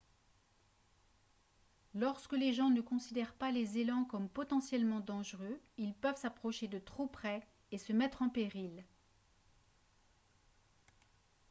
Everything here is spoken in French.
lorsque les gens ne considèrent pas les élans comme potentiellement dangereux ils peuvent s'approcher de trop près et se mettre en péril